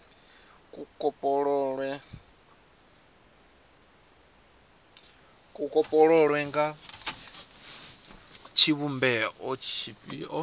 kopololwa nga tshivhumbeo tshifhio kana